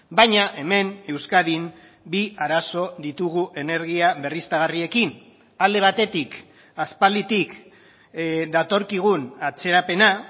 baina hemen euskadin bi arazo ditugu energia berriztagarriekin alde batetik aspalditik datorkigun atzerapena